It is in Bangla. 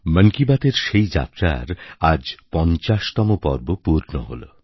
মন কি বাতএর সেই যাত্রার আজ ৫০তম পর্ব পূর্ণ হলো